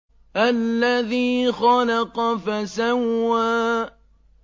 الَّذِي خَلَقَ فَسَوَّىٰ